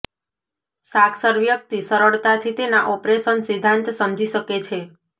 સાક્ષર વ્યક્તિ સરળતાથી તેના ઓપરેશન સિદ્ધાંત સમજી શકે છે